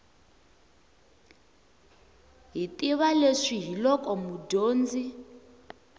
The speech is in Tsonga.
hi tiva leswi hiloko mudyondzi